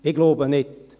– Ich glaube nicht.